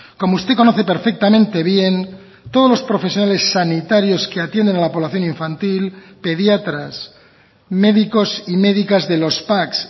como usted conoce perfectamente bien todos los profesionales sanitarios que atienden a la población infantil pediatras médicos y médicas de los pac